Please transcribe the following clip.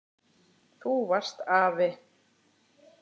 Þú varst afi.